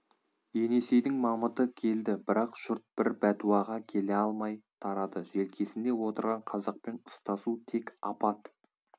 енесейдің мамыты келді бірақ жұрт бір бәтуаға келе алмай тарады желкесінде отырған қазақпен ұстасу тек апат